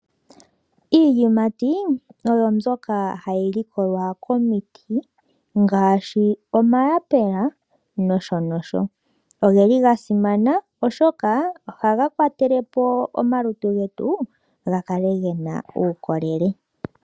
Iiyimati pyo mbyoka hayi likolwa komiti ngaashi omayapula nosho nosho. Oge li ga simana oshoka ohaga kwatelepo omalutu getu ga kale gena uukolele.